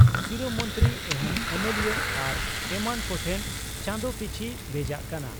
ᱥᱤᱨᱟᱹ ᱢᱚᱱᱛᱨᱤ ᱮᱦᱮᱢ ᱟᱹᱢᱟᱹᱞᱤᱭᱟᱹ ᱟᱨ ᱮᱢᱟᱱ ᱠᱚᱴᱷᱮᱱ ᱪᱟᱸᱫᱚ ᱯᱤᱪᱷᱤ ᱵᱷᱮᱡᱟᱜ ᱠᱟᱱᱟ ᱾